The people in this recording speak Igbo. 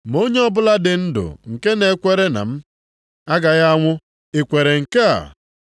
Ma onye ọbụla dị ndụ nke na-ekwere na m agaghị anwụ. Ị kwere nke a?”